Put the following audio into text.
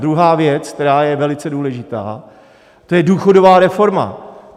Druhá věc, která je velice důležitá, to je důchodová reforma.